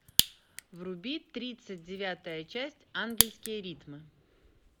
вруби тридцать девятая часть ангельские ритмы